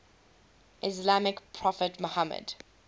islamic prophet muhammad